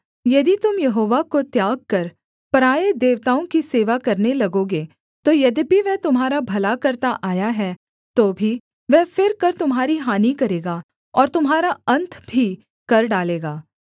यदि तुम यहोवा को त्याग कर पराए देवताओं की सेवा करने लगोगे तो यद्यपि वह तुम्हारा भला करता आया है तो भी वह फिरकर तुम्हारी हानि करेगा और तुम्हारा अन्त भी कर डालेगा